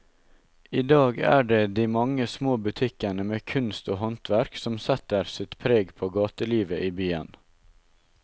I dag er det de mange små butikkene med kunst og håndverk som setter sitt preg på gatelivet i byen.